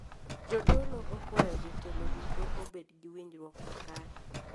Jodolo okwayo jotelo duto obed gi winjruok makare